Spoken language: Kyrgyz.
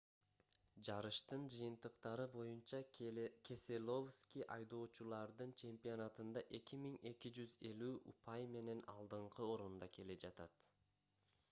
жарыштын жыйынтыктары боюнча кеселовски айдоочулардын чемпионатында 2250 упай менен алдыңкы орунда келе жатат